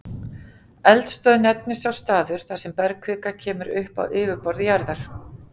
Eldstöð nefnist sá staður, þar sem bergkvika kemur upp á yfirborð jarðar.